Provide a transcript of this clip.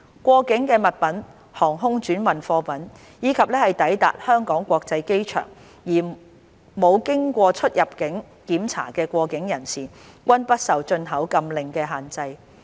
過境物品、航空轉運貨物，以及抵達香港國際機場而沒有經過出入境檢查的過境人士，均不受進口禁令的限制。